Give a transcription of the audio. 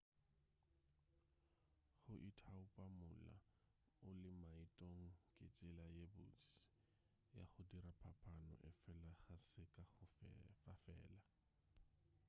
go ithaopa mola o ile maetong ke tsela ye botse ya go dira phapano efela ga se ka go fa fela